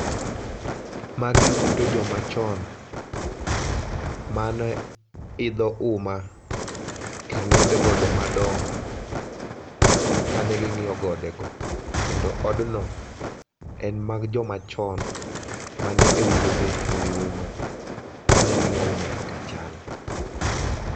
ma gi ute jo ma chon, mane idho uma kendo ma ne idho gode madongo ka ne ng'iyo gode go. Kendo od no en mar jo machon ma ne e wuothe e wi uma ka ne gi ng'iyo uma kaka chal.